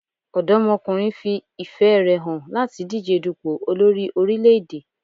Ọ̀dọ́mọkùnrin fi ìfẹ́ rè hàn láti díje dùpò olórí orílẹ̀-èdè.